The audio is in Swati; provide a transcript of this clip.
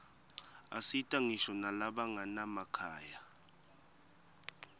asita ngisho nalabanganamakhaya